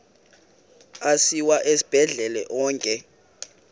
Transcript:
asiwa esibhedlele onke